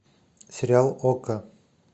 сериал окко